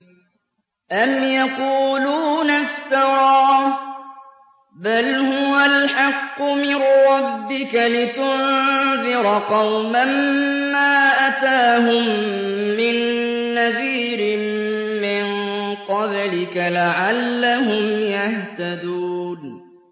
أَمْ يَقُولُونَ افْتَرَاهُ ۚ بَلْ هُوَ الْحَقُّ مِن رَّبِّكَ لِتُنذِرَ قَوْمًا مَّا أَتَاهُم مِّن نَّذِيرٍ مِّن قَبْلِكَ لَعَلَّهُمْ يَهْتَدُونَ